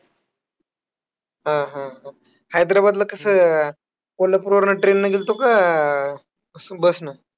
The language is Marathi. हां हां हां, हैद्राबादला कसं, कोल्हापूरवरनं train नं गेल्तो का? स bus नं